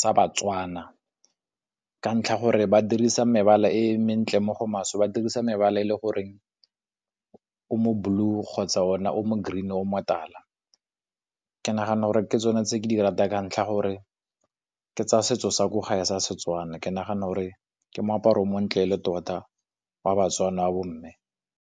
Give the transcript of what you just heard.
sa ba-Tswana. Ka ntlha gore ba dirisa mebala e mentle mo go maswe ba dirisa mebala e le goreng o mo blue kgotsa ona o mo green, o motala. Ke nagana gore ke tsone tse ke di ratang ka ntlha gore ke tsa setso sa ko gae sa Setswana. Ke nagana gore ke moaparo o montle e le tota wa ba-Tswana wa bomme.